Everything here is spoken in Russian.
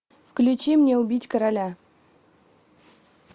включи мне убить короля